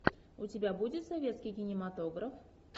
у тебя будет советский кинематограф